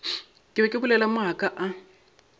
be ke bolela maaka a